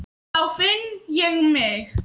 Þá finn ég mig.